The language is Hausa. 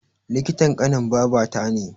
Likitan ƙanin babata ne